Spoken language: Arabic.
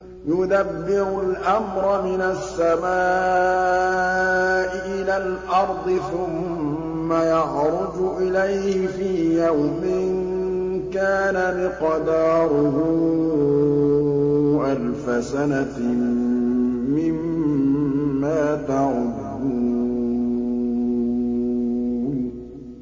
يُدَبِّرُ الْأَمْرَ مِنَ السَّمَاءِ إِلَى الْأَرْضِ ثُمَّ يَعْرُجُ إِلَيْهِ فِي يَوْمٍ كَانَ مِقْدَارُهُ أَلْفَ سَنَةٍ مِّمَّا تَعُدُّونَ